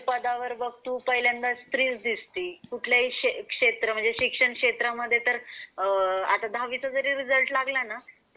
कुठल्या पण पदावर बघ तू पहिल्यांदा स्त्रीचा दिसती कुठल्या हि क्षेत्र म्हणजे शिक्षण क्षेत्र मध्ये तर आ आता दहावीचा जरी रिझल्ट लागला ना